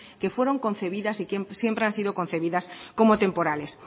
que fueron concebidas y que siempre han sido concebidas como temporales